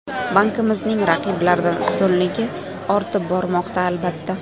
Bankimizning raqiblardan ustunligi ortib bormoqda, albatta.